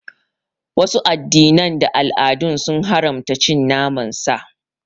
Wasu addinan da al'adun sun haramta cin naman sa.